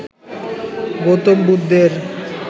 গৌতম বুদ্ধের